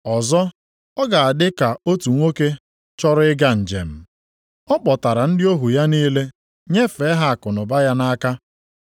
“Ọzọ, ọ ga-adị ka otu nwoke chọrọ ịga njem. Ọ kpọkọtara ndị ohu ya niile nyefee ha akụnụba ya nʼaka.